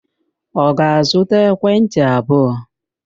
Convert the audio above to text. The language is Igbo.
Ọ ga-azụta ekwentị abụọ?